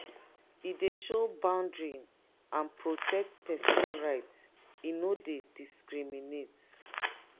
e do show boundary and protect pesin right e no dey discriminate.